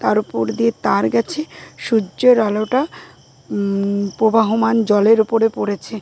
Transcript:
তার উপর দিয়ে তার গেছে। সূর্যের আলোটা ম-ম প্রবাহমান জলের ওপরে পড়েছে।